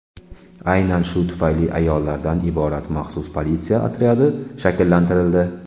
Aynan shu tufayli ayollardan iborat maxsus politsiya otryadi shakllantirildi.